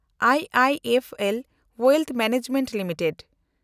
I I F L Wealth Management limited